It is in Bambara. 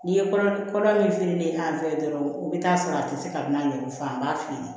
N'i ye kɔrɔ min feere an fɛ ye dɔrɔn i bɛ taa sɔrɔ a tɛ se ka n'a ɲɛfɔ an b'a feere